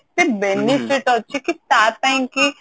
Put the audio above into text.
ସେ benefit ଅଛି କି ତା ପାଇଁ କି